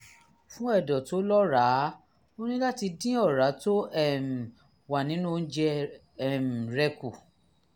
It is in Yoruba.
fún ẹ̀dọ̀ tó lọ́ràá o ní láti dín ọ̀rá tó um wà nínú oúnjẹ um rẹ kù